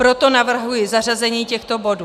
Proto navrhuji zařazení těchto bodů.